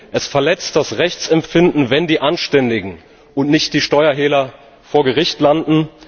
Es verletzt das Rechtsempfinden, wenn die Anständigen und nicht die Steuerhehler vor Gericht landen.